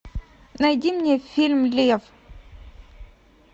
найди мне фильм лев